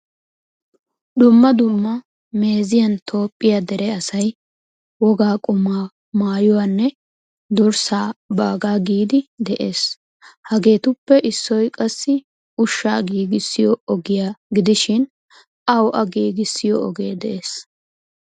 Dumma dumma meeziyan toophphiyaa dere asay wogaa qumma, maayuwaanne durssa baaga giidi de'ees. Hagetuppe issoy qassi ushshaa giigisiyo ogiya gidishin awu a giigisiyo ogee de'ees.